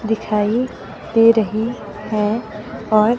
दिखाई दे रही है और--